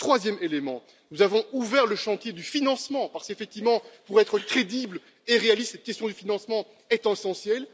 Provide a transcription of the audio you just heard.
Troisième élément nous avons ouvert le chantier du financement parce qu'effectivement, pour être crédibles et réalistes, cette question du financement est essentielle.